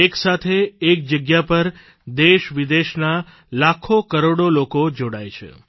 એક સાથે એક જગ્યા પર દેશવિદેશના લાખો કરોડો લોકો જોડાય છે